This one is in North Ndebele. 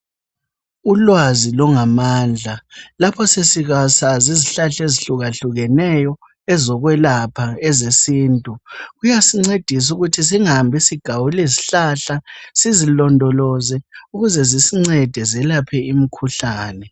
Ulwazi lungamandla lapho sesisazi izihlahla ezihlukahlukeneyo ezokwelapha ezesintu, kuyasincedisa ukuthi singahambi sesigawula izihlahla, sizilondoloze ukuze zisincede zelaphe imikhuhlane.